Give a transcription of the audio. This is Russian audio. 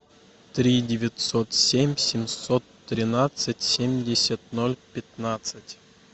три девятьсот семь семьсот тринадцать семьдесят ноль пятнадцать